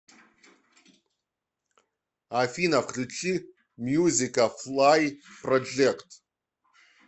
афина включи мьюзика флай проджект